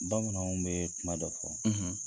Bamananw bɛ kuma dɔ fɔ,